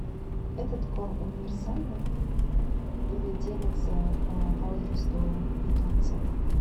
этот корм универсальный или делится по возрасту питомца